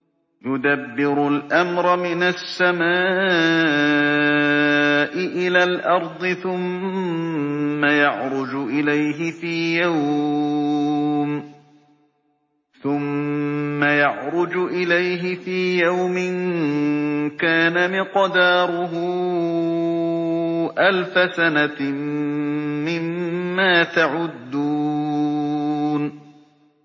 يُدَبِّرُ الْأَمْرَ مِنَ السَّمَاءِ إِلَى الْأَرْضِ ثُمَّ يَعْرُجُ إِلَيْهِ فِي يَوْمٍ كَانَ مِقْدَارُهُ أَلْفَ سَنَةٍ مِّمَّا تَعُدُّونَ